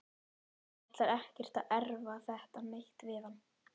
Og ætlar ekkert að erfa þetta neitt við hann.